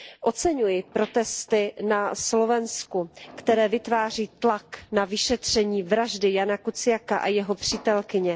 Oceňuji protesty na Slovensku, které vytváří tlak na vyšetření vraždy Jána Kuciaka a jeho přítelkyně.